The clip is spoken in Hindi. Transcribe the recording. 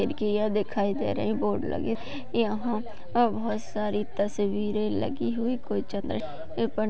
खिड्किया दिखाई दे रही बोर्ड लगी दिखाई दे रही यहा और बहुत सारी तस्वीरे लगी हुई कोई--